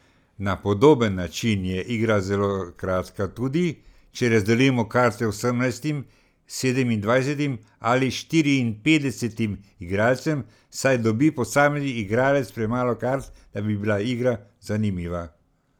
Na podoben način je igra zelo kratka tudi, če razdelimo karte osemnajstim, sedemindvajsetim ali štiriinpetdesetim igralcem, saj dobi posamezni igralec premalo kart, da bi bila igra zanimiva.